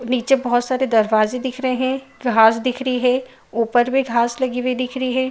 नीचे बोहोत सारे दरवाजे दिख रहे है। घास दिख रही है ऊपर भी घास लगी हुई दिख रही है।